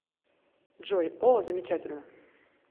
джой о замечательно